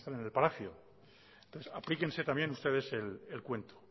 salen del palacio aplíquense también ustedes el cuento